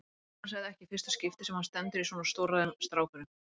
Annars er þetta ekki í fyrsta skipti sem hann stendur í svona stórræðum, strákurinn.